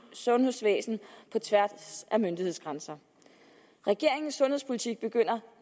sundhedsvæsen på tværs af myndighedsgrænser regeringens sundhedspolitik begynder